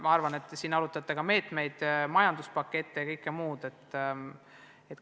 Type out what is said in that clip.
Ma arvan, et te arutate siin ka meetmeid, majanduspakette ja kõike muud.